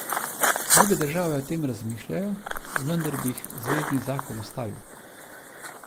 Druge države o tem razmišljajo, vendar bi jih zvezni zakon ustavil.